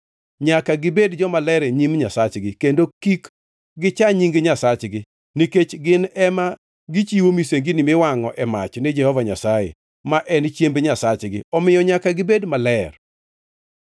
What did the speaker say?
Nyaka gibed jomaler e nyim Nyasachgi, kendo kik gicha nying Nyasachgi. Nikech gin ema gichiwo misengini miwangʼo e mach ni Jehova Nyasaye, ma en chiemb Nyasachgi, omiyo nyaka gibed maler.